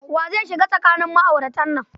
Wa zai shiga tsakanin ma'auratan nan?